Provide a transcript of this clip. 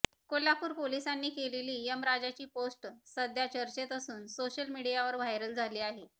कोल्हापूर पोलिसांनी केलेली यमराजाची पोस्ट सध्या चर्चेत असून सोशल मीडियावर व्हायरल झाली आहे